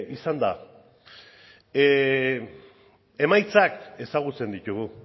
izan da emaitzak ezagutzen ditugu